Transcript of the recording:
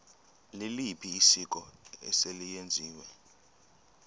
liliphi isiko eselenziwe